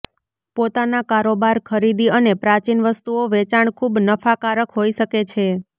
પોતાના કારોબાર ખરીદી અને પ્રાચીન વસ્તુઓ વેચાણ ખૂબ નફાકારક હોઈ શકે છે